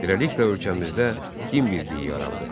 Beləliklə, ölkəmizdə din birliyi yarandı.